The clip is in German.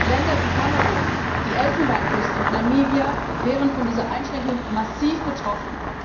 Länder wie Kamerun, die Elfenbeinküste und Namibia wären von dieser Einschränkung massiv betroffen.